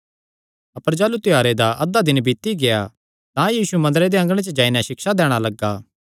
अपर जाह़लू त्योहारे दा अधा दिन बीती गेआ तां यीशु मंदरे दे अँगणे च जाई नैं सिक्षा दैणा लग्गा